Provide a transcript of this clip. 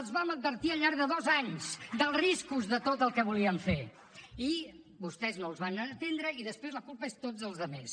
els vam advertir al llarg de dos anys dels riscos de tot el que volien fer i vostès no els van atendre i després la culpa és de tots els altres